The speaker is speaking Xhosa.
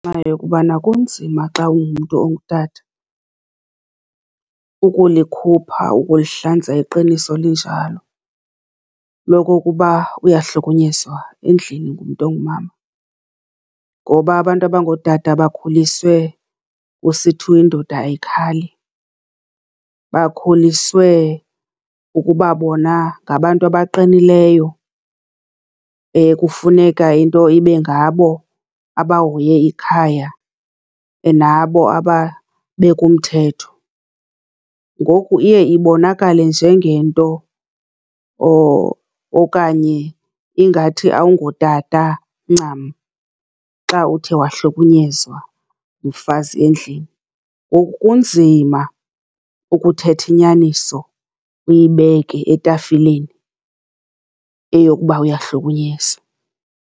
yokubana kunzima xa ungumntu ongutata ukulikhupha, ukulihlanza iqiniso linjalo lokokuba uyahlukunyezwa endlini ngumntu ongumama, ngoba abantu abangootata bakhuliswe kusithiwa indoda ayikhali. Bakhuliswe ukuba bona ngabantu abaqinileyo ekufuneka into ibe ngabo abahoye ikhaya, nabo ababeka umthetho, ngoku iye ibonakale njengento or okanye ingathi awungotata ncam xa uthe wahlukunyezwa ngumfazi endlini. Ngoku kunzima ukuthetha inyaniso, uyibeke etafileni, eyokuba uyahlukunyezwa.